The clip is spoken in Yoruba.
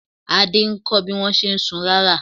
Adé ń kọ́ bí wọ́n ṣe ń sun rárà.